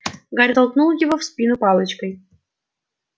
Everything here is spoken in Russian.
гарри толкнул его в спину палочкой